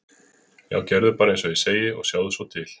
Já, gerðu bara eins og ég segi og sjáðu svo til.